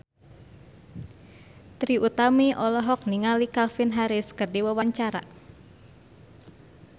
Trie Utami olohok ningali Calvin Harris keur diwawancara